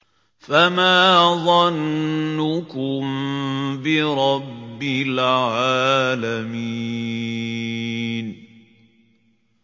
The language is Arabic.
فَمَا ظَنُّكُم بِرَبِّ الْعَالَمِينَ